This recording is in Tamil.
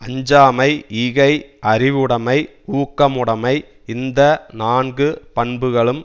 அஞ்சாமை ஈகை அறிவுடைமை ஊக்கமுடைமை இந்த நான்கு பண்புகளும்